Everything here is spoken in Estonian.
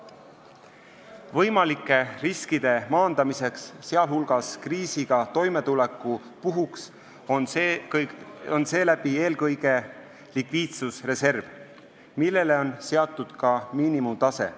Võimalike riskide maandamiseks, sealhulgas kriisiga toimetulekuks, on eelkõige likviidsusreserv, millele on seatud ka miinimumtase.